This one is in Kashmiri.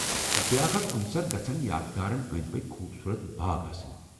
بیٛاکھ اہم عنصر گژھن یادگارن اندۍ پٕكۍ خوٗبصورت باغ آسٕنۍ ۔